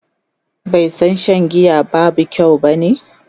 bai San Shan giya ba kyau bane?